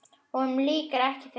Honum lýkur ekki fyrr.